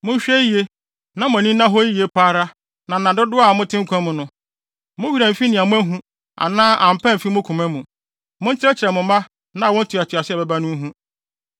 Monhwɛ yiye, na mo ani nna hɔ yiye pa ara na nna dodow a mote nkwa mu no, mo werɛ amfi nea moahu, anaa ampa amfi mo koma mu. Monkyerɛkyerɛ mo mma na awo ntoatoaso a ɛbɛba no nhu.